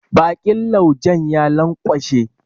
Bakin laujen ya lanƙwashe.